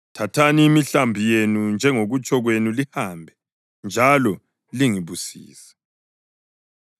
Thathani imihlambi yenu, njengokutsho kwenu lihambe. Njalo lingibusise.”